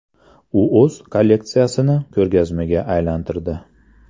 U o‘z kolleksiyasini ko‘rgazmaga aylantirdi.